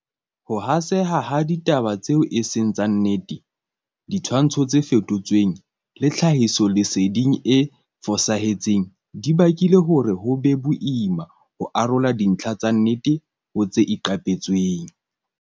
Ho haseha ha ditaba tseo e seng tsa nnete, ditshwantsho tse fetotsweng le tlhahisoleseding e fosahetseng di bakile hore ho be boima ho arola dintlha tsa nnete ho tse iqapetsweng.